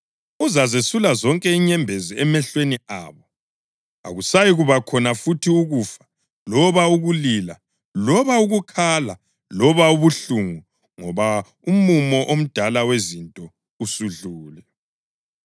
Uzazesula zonke inyembezi emehlweni abo. Akusayikuba khona futhi ukufa loba ukulila loba ukukhala loba ubuhlungu ngoba umumo omdala wezinto usudlule.” + 21.4 U-Isaya 25.8